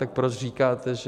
Tak proč říkáte, že...